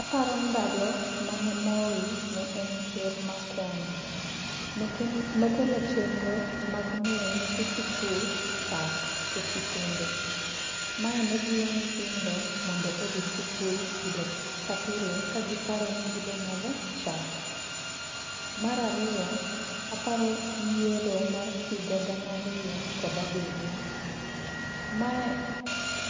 Aparo ndalo mane Moi ne en Ker mar Kenya. Nokelo chenro mag miyo nyithi sikul chak e sikunde. Mae ne jiwo nyithindo mondo odhi sikul pile ka pile ka giparo ni gibo madho chak. Mar ariyo, aparo yiero mar higa gana ariyo kod abiryo. Mae